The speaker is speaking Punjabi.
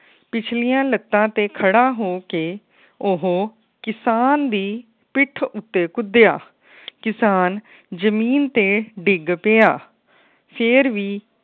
ਪਿਛਲੀਆਂ ਲੱਤਾਂ ਤੇ ਖੜਾ ਹੋ ਕੇ ਉਹ ਕਿਸਾਨ ਦੀ ਪਿੱਠ ਉਤੇ ਕੁਦਿਆ। ਕਿਸਾਨ ਜਮੀਨ ਤੇ ਡਿੱਗ ਪਿਆ। ਫੇਰ ਵੀ